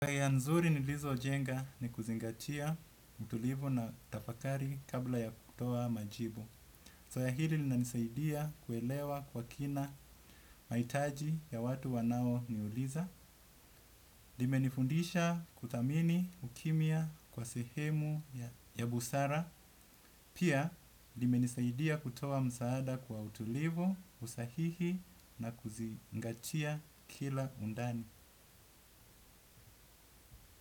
Zoea nzuri nilizojenga ni kuzingatia utulivu na tafakari kabla ya kutoa majibu. Soea hili linanisaidia kuelewa kwa kina maitaji ya watu wanaoniuliza. Limenifundisha kuthamini ukimya kwa sehemu ya busara. Pia, limenisaidia kutoa msaada kwa utulivu, usahihi na kuzingatia kila undani.